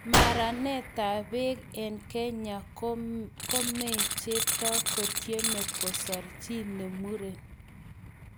Maranetab beek eng kenya:Kome chepto kotiemei kosor chi ne muren.